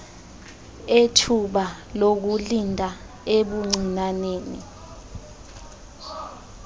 ethuba lokulinda ebuncinaneni